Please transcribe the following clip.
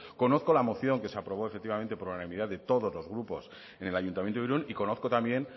conozco la moción que se aprobó efectivamente por unanimidad de todos los grupos en el ayuntamiento de irún y conozco también